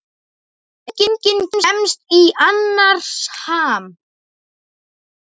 Enginn kemst í annars ham.